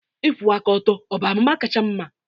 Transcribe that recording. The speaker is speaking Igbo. Ịkwụwa aka ọtọ ọ bụ amụma kacha mma?